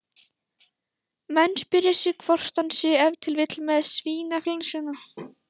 Menn spyrja sig hvort hann sé ef til vill með svínaflensuna?